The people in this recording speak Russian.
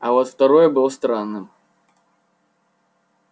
а вот второй был странным